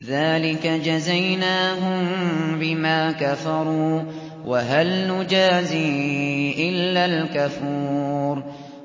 ذَٰلِكَ جَزَيْنَاهُم بِمَا كَفَرُوا ۖ وَهَلْ نُجَازِي إِلَّا الْكَفُورَ